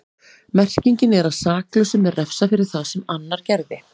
Merkingin er að saklausum er refsað fyrir það sem annar gerði.